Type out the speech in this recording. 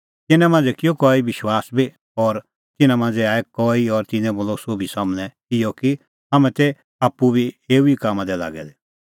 तिन्नां मांझ़ै किअ कई विश्वास बी और तिन्नां मांझ़ै आऐ कई और तिन्नैं बोलअ सोभी सम्हनै इहअ कि हाम्हैं तै आप्पू बी एऊ ई कामां दी लागै दै